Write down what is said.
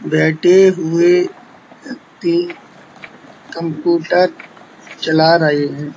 बैठे हुए व्यक्ति कंप्यूटर चला रहे हैं।